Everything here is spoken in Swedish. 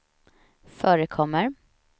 förekommer